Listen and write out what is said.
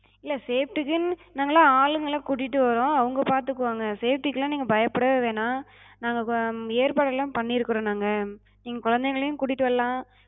இல்ல safety குன்னு நாங்களா ஆளுங்கள கூட்டிட்டு வரோ, அவங்க பாத்துகுவாங்க. safety கெலா நீங்க பயப்படவே வேணா, நாங்க ஹம் ஏற்பாடெல்லா பண்ணிருக்குறோ நாங்க. நீங்க குழந்தைங்களையு கூட்டிட்டு வர்லா,